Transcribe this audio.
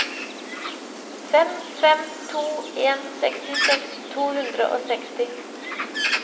fem fem to en sekstiseks to hundre og seksti